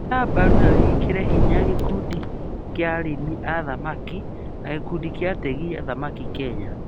Nyita mbaru na wĩkĩre hinya gĩkundi cia arĩmi a thamaki na gĩkundi kia ategi a thamaki a Kenya